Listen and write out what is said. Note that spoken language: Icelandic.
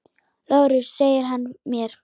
LÁRUS: Segir hann mér!